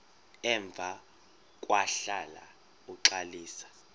emva kwahlala uxalisa